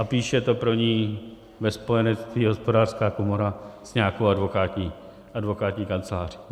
A píše to pro ni ve spojenectví Hospodářská komora s nějakou advokátní kanceláří.